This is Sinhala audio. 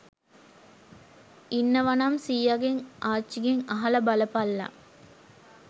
ඉන්නවනම් සීයාගෙන් ආච්චිගෙන් අහල බලපල්ලා